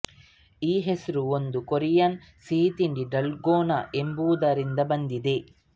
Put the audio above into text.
ಈ ಹೆಸರು ಒಂದು ಕೊರಿಯನ್ ಸಿಹಿತಿಂಡಿ ಡಲ್ಗೋನಾ ಎಂಬುದರಿಂದ ಬಂದಿದೆ